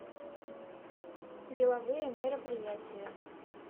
деловые мероприятия